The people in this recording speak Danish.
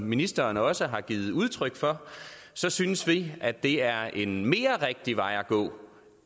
ministeren også har givet udtryk for så synes vi at det er en mere rigtig vej at gå